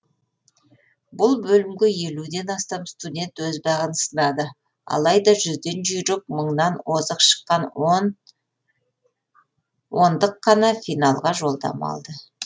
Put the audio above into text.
бұл бөлімге ден астам студент өз бағын сынады алайда жүзден жұйрік мыңнан озық шыққан қана финалға жолдама алды